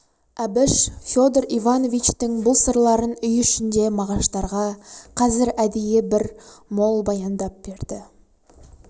әбіш федор ивановичтің бұл сырларын үй ішінде мағаштарға қазір әдейі бір мол баяндап берді